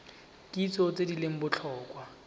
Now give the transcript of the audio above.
kitso tse di leng botlhokwa